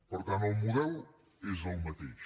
per tant el model és el mateix